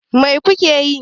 Mai ku ke yi?